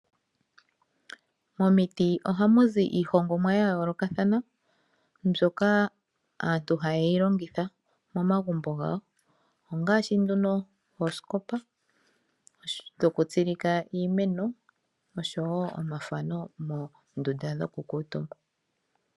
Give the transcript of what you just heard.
Momiti ohamu zi iihongomwa yayoolokathana mbyoka aantu hayeyi longitha momagumbo gawo ongaashi oosikopa dhokutsilika iimeno oshowoo omafano moondunda dhokukuutumba.